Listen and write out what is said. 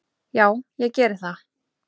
Já ég geri það.